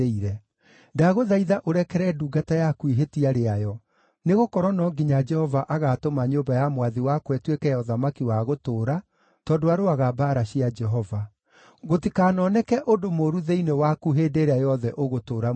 Ndagũthaitha ũrekere ndungata yaku ihĩtia rĩayo, nĩgũkorwo no nginya Jehova agaatũma nyũmba ya mwathi wakwa ĩtuĩke ya ũthamaki wa gũtũũra, tondũ arũaga mbaara cia Jehova. Gũtikanoneke ũndũ mũũru thĩinĩ waku hĩndĩ ĩrĩa yothe ũgũtũũra muoyo.